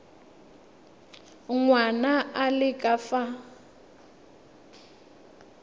ngwana a le ka fa